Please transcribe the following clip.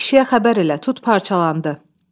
Qaç kişiyə xəbər elə, tut parçalandı.